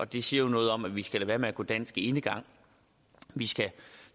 det siger jo noget om at vi skal lade være med at gå dansk enegang vi skal